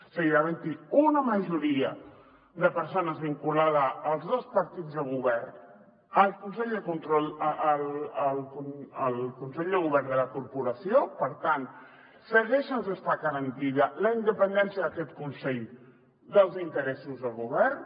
seguirà havent hi una majoria de persones vinculada als dos partits de govern el consell de govern de la corporació per tant segueix sense estar garantida la independència d’aquest consell dels interessos del govern